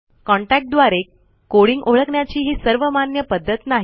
contact द्वारे coding ओळखण्याची ही सर्वमान्य पध्दत नाही